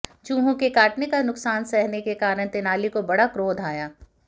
चूहों के काटने का नुकसान सहने के कारण तेनाली को बड़ा क्रोध आया